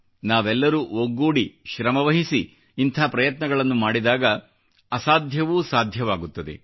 ನಾವೆಲ್ಲರೂ ಒಗ್ಗೂಡಿ ಶ್ರಮವಹಿಸಿ ಇಂಥ ಪ್ರಯತ್ನಗಳನ್ನು ಮಾಡಿದಾಗ ಅಸಾಧ್ಯವೂ ಸಾಧ್ಯವಾಗುತ್ತದೆ